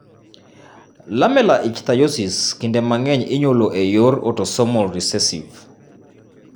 Lamellar ichthyosis kinde mang'eny inyuolo e yor autosomal recessive.